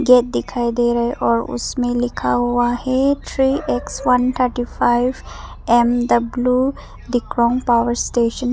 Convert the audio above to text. Gate दिखाई दे रहा है और उसमें लिखा हुआ है three X one thirty five M W Dikrong power station.